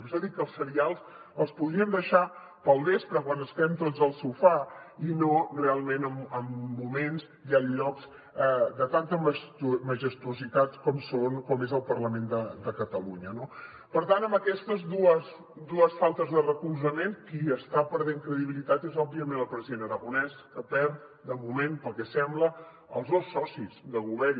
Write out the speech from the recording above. per això dic que els serials els podríem deixar per al vespre quan estem tots al sofà i no realment en moments i en llocs de tanta majestuositat com és el parlament de catalunya no per tant amb aquestes dues faltes de recolzament qui està perdent credibilitat és òbviament el president aragonès que perd de moment pel que sembla els dos socis de govern